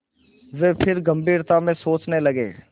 वे फिर गम्भीरता से सोचने लगे